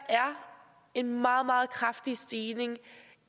en meget meget kraftig stigning